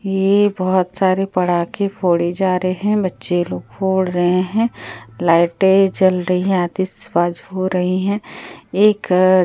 ये बहुत सारे पड़ाके फोड़े जा रहे हैं बच्चे लोग फोड़ रहे हैं लाइटें जल रही है आतिशबाज हो रही है एक अ --